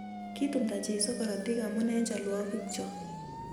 Kitumda Jesu korotik amu eng chalwogik chok